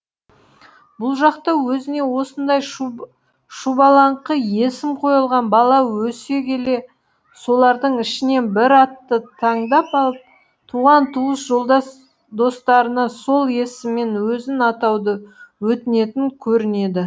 бұл жақта өзіне осындай шұбалаңқы есім қойылған бала өсе келе солардың ішінен бір атты таңдап алып туған туыс жолдас достарына сол есіммен өзін атауды өтінетін көрінеді